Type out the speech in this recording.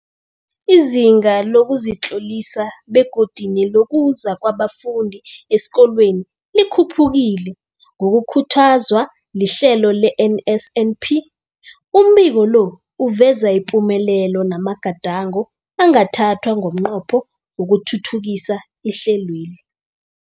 Izinga lokuzitlolisa begodu nelokuza kwabafundi esikolweni likhuphukile ngokukhuthazwa lihlelo le-NSNP. Umbiko lo uveza ipumelelo namagadango angathathwa ngomnqopho wokuthuthukisa ihlelweli.